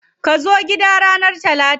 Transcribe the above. Kazo gida na ranar Talata.